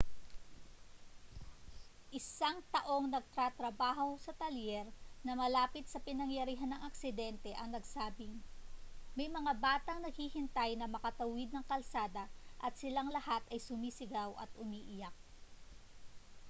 isang taong nagtatrabaho sa talyer na malapit sa pinangyarihan ng aksidente ang nagsabing: may mga batang naghihintay na makatawid ng kalsada at silang lahat ay sumisigaw at umiiyak.